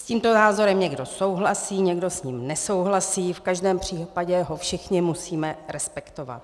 S tímto názorem někdo souhlasí, někdo s ním nesouhlasí, v každém případě ho všichni musíme respektovat.